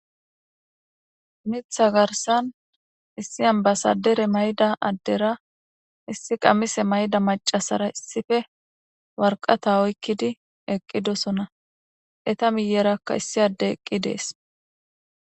Mitha garsan issi ambasadere mayida adera issi qamise ma'ida mac'asera issipe woraqata oykidi eqidosona eta miyeraka issi adey eqides.